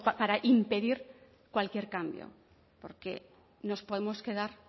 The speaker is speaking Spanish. para impedir cualquier cambio porque nos podemos quedar